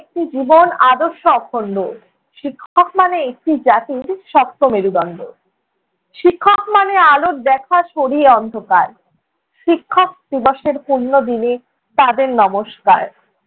একটি জীবন আদর্শ অখণ্ড, শিক্ষক মানে একটি জাতির শক্ত মেরুদণ্ড। শিক্ষক মানে আলোর দেখা সরিয়ে অন্ধকার। শিক্ষক দিবসের পুণ্য দিনে তাঁদের নমস্কার।